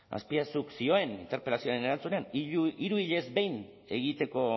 azpiazuk zioen interpelazioaren erantzunean hiru hilez behin egiteko